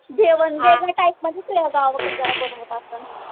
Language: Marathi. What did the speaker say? जेवण वेगळ्या टाईपमध्येच तुझ्या गावाकडं बनवत असण